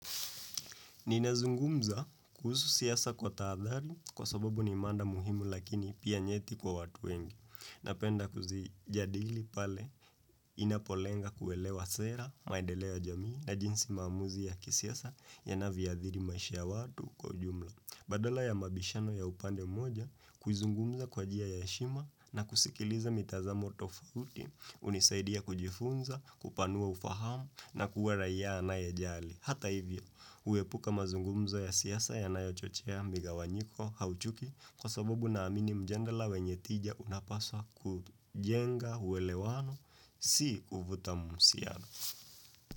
Ninazungumza kuhusu siasa kwa tahadhari kwa sababu ni mada muhimu lakini pia nyeti kwa watu wengi. Napenda kuzijadili pale inapolenga kuelewa sera, maendeleo ya jamii na jinsi maamuzi ya kisiasa ya navyoathiri maisha ya watu kwa ujumla. Badala ya mabishano ya upande moja kuzungumza kwa njia ya heshima na kusikiliza mitazamo tofauti hunisaidia kujifunza, kupanua ufahamu na kuwa raia anayejali. Hata hivyo, huepuka mazungumzo ya siasa yanayochochea migawanyiko au chuki kwa sababu naamini mjadala wenye tija unapaswa kujenga uelewano si kuvuta muhusiano.